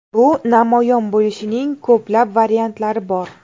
Bu namoyon bo‘lishining ko‘plab variantlari bor.